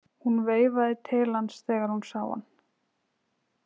Hún veifaði til hans þegar hún sá hann.